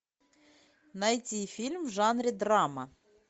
найти фильм в жанре драма